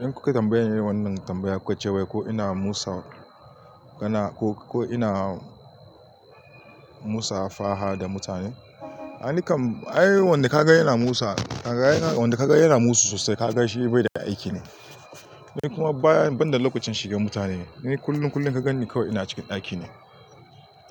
In kuka tambaye ni wannan tambayar, ku ce wai ko ina musa, gana ko, ko ina musa faha da mutane? Ai nikan, ai wanda ka gan yana musu, wanda ka ga yana musu sosai ka ga shi bai da aiki ne. Ni kuma baya, banda lokacin shiga mutane, ni kullum, kullum ka ganni kawai ina cikin ɗaki ne.